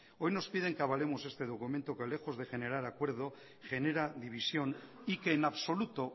hoy nos piden que avalemos este documento que lejos de generar acuerdo genera división y que en absoluto